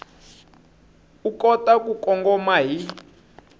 u kota ku kongoma hi